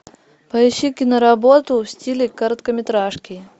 поищи киноработу в стиле короткометражки